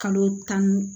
Kalo tan